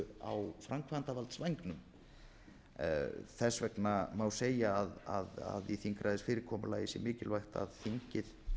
eru á framkvæmdarvaldsvængnum þess vegna má segja að í þingræðisfyrirkomulagi sé mikilvægt að þingið